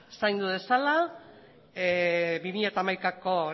si lo